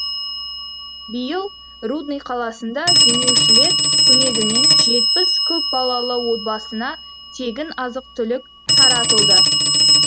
биыл рудный қаласында демеушілер көмегімен жетпіс көпбалалы отбасына тегін азық түлік таратылды